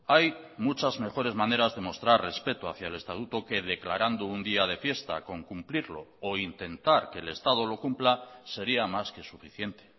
hay muchas mejores maneras de mostrar respeto hacia el estatuto que declarando un día de fiesta con cumplirlo o intentar que el estado lo cumpla sería más que suficiente